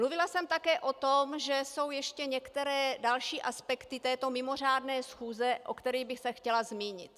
Mluvila jsem také o tom, že jsou ještě některé další aspekty této mimořádné schůze, o kterých bych se chtěla zmínit.